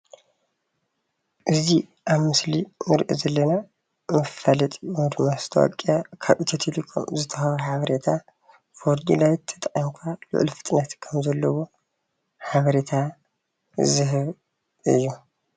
እዙይ ኣብ ምስሊ እንሪኦ ዘለና መፋለጢ ወይ ከዓ መስታወቅያ ካብ ኢትዮቴሌኮም ዝወሃብ ሓቤሬታ ፎር ጂቢ ዳታ ተተጠቂምኩም ሉዕል ፍጥነት ዝህብ እዩ።